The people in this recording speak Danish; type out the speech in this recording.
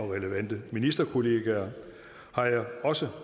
relevante ministerkollegaer har jeg